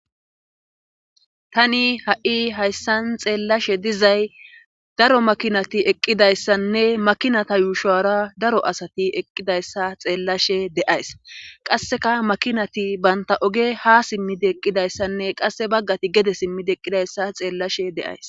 tani ha7i hayssan xeellashe dizay daro makinati eqqidayssanne makinata yuushora daro asati eqqidayssa xeellashe deays qasseka makinati banta oge ha simmidi eqqidayssanne qasse baggati gede simmidi eqqidayssa xeellashe deays